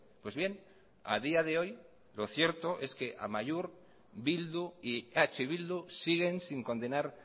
pues bien a día de hoy lo cierto es que amaiur bildu y eh bildu siguen sin condenar